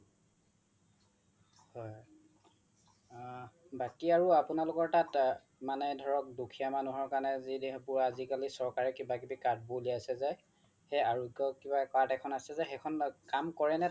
হয় বাকি আৰু আপোনালোকৰ তাত মানে ধৰক দুখিয়া মানুহৰ কাৰনে আজিকালি চৰকাৰে কিবা কিবি card বোৰ উলিয়াইছে যে সেই আৰোগ্য কিবা card এখন আছে যে কাম কৰে নে তাত